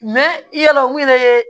yala mun yɛrɛ ye